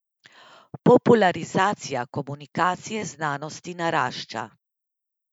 Popularizacija komunikacije znanosti narašča.